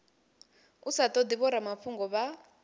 u sa todi vhoramafhungo vha